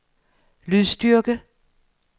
lydstyrke